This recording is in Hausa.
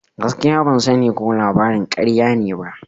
Gaskiya, ban sani ko labarin karya ne ba.